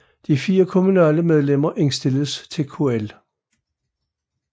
De 4 kommunale medlemmer indstilles af KL